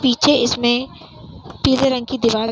पीछे इसमें पीले रंग की दीवाल --